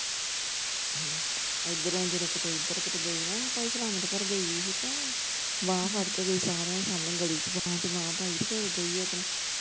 ਇੱਧਰੋਂ ਜਦੋਂ, ਇੱਧਰ ਕੀਤੇ ਗਈ ਨਾ ਸਲਾਮਤ ਘਰ ਗਈ ਹੀ ਤੇ ਬਾਂਹ ਫੜ ਕੇ ਗਈ ਸਾਰਿਆ ਸਾਹਮਣੇ ਗਲੀ ਚ ਬਾਂਹ ਚ ਬਾਂਹ ਪਾਈ ਤੇ ਫਿਰ ਗਈ ਓਦੇ ਨਾਲ।